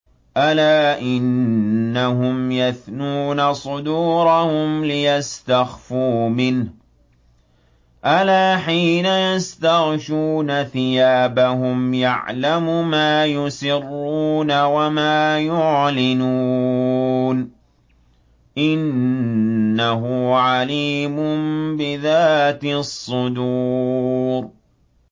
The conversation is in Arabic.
أَلَا إِنَّهُمْ يَثْنُونَ صُدُورَهُمْ لِيَسْتَخْفُوا مِنْهُ ۚ أَلَا حِينَ يَسْتَغْشُونَ ثِيَابَهُمْ يَعْلَمُ مَا يُسِرُّونَ وَمَا يُعْلِنُونَ ۚ إِنَّهُ عَلِيمٌ بِذَاتِ الصُّدُورِ